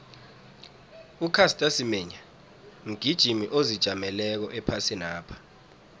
ucaster semenya mgijimi ozijameleko ephasinapha